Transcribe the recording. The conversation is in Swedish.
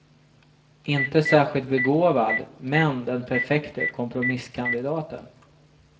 Inte särskilt begåvad, men den perfekte kompromisskandidaten.